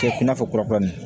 Cɛ i n'a fɔ kura kura min